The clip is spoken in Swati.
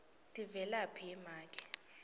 tivelaphi ye make